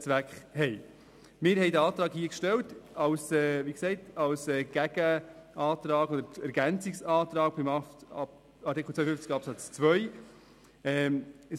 Wir haben hier den Antrag als Gegenantrag und Ergänzungsantrag zu Artikel 52 Absatz 2 gestellt.